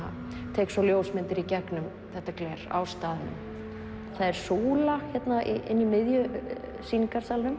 tek svo ljósmyndar í gegnum þetta gler á staðnum það er súla inni í miðjum sýningarsalnum